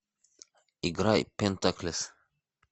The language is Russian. играй пентаклес